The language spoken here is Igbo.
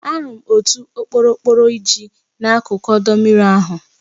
Ahụrụ m otu okporokporo iji n'akụkụ ọdọ mmiri ahụ.